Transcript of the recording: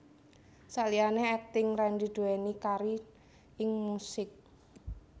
Saliyané akting Randy duwéni karir ing musik